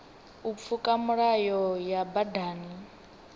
u pfuka milayo ya badani